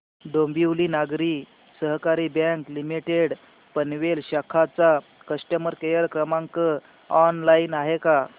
Dombivli Nagari Sahakari bank limited Panvel शाखा चा customer care क्रमांक ऑनलाइन आहे का